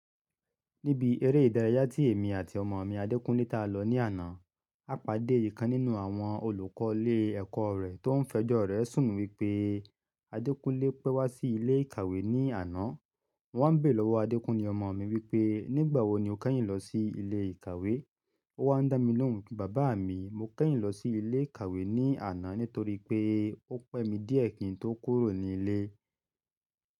Níbi eré ìdárayá tí èmi àti ọmọ mi, Adékúnlé ta lọ ní àná, a pàdé èyí kan nínú àwọn olùkọ́ ilé ẹ̀kọ́ rẹ̀ tó ń fẹjọ́ rẹ̀ sùn wípé Adékúnlé pẹ́ wá sí ilé ìkàwé ní àná. Mo wá ń bé lọ́wọ́ Adékúnlé ọmọ mi wípé "nígbà wo ni o kẹ́yìn lọ sí ilé ìkàwé?" Ó wá ń dá mi lóhùn wípé "bàbá mi, mo kẹ́yìn lọ sí ilé ìkàwé ní àná nítorí pé ó pẹ́ mi díẹ̀ kí n tó kúrò ní ilé."